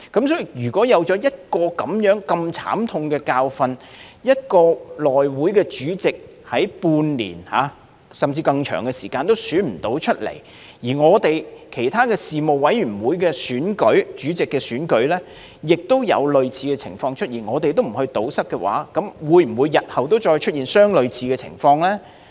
所以，經歷了如此慘痛的教訓，內會主席經半年，甚至更長時間也無法選出，其他事務委員會選舉主席時，也有類似情況出現，而若我們不加以堵塞，日後會否再出現相類似情況呢？